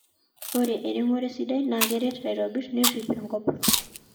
ore eremore sidai na keret aitobir nerip enkop